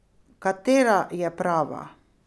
Katera je prava?